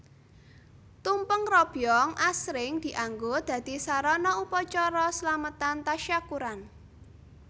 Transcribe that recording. Tumpeng robyong asring dianggo dadi sarana upacara Slametan Tasyakuran